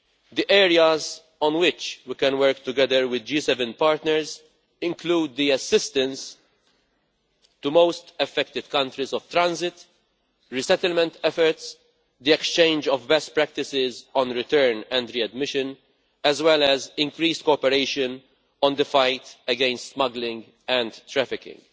The areas on which we can work together with G7 partners include assistance to most-affected countries of transit, resettlement efforts, the exchange of best practices on return and readmission, as well as increased cooperation on the fight against smuggling and trafficking.